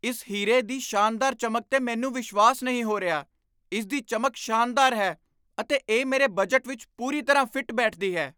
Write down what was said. ਇਸ ਹੀਰੇ ਦੀ ਸ਼ਾਨਦਾਰ ਚਮਕ 'ਤੇ ਮੈਨੂੰ ਵਿਸ਼ਵਾਸ ਨਹੀਂ ਹੋ ਰਿਹਾ! ਇਸ ਦੀ ਚਮਕ ਸ਼ਾਨਦਾਰ ਹੈ ਅਤੇ ਇਹ ਮੇਰੇ ਬਜਟ ਵਿੱਚ ਪੂਰੀ ਤਰ੍ਹਾਂ ਫਿੱਟ ਬੈਠਦੀ ਹੈ।